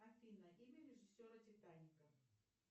афина имя режиссера титаника